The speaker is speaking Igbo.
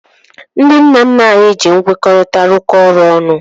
Ndị nna nna anyị ji nkwekọrịta rụkọọ ọrụ ọnụ